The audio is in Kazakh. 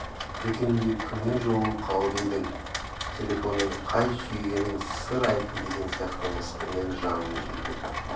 дүкенде кіммен жолығып қалып едің телефонмен қай сүйгенің сыр айтты деген сияқты мысқылмен жанын жейтін